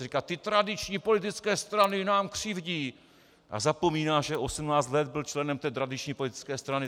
On říká "ty tradiční politické strany nám křivdí"! a zapomíná, že 18 let byl členem té tradiční politické strany.